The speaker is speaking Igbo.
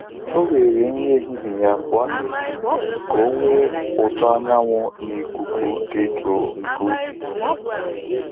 O were nri ehihie ya pụọ n'ezi ka o nwee ụtọ anyanwu na ikuku dị jụụ nke ubi.